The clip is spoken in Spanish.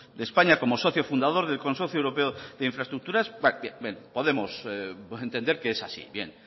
de españa como socio fundador del consorcio europeo de infraestructuras podemos entender que es así bien